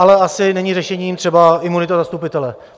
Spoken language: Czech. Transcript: Ale asi není řešením třeba imunita zastupitele.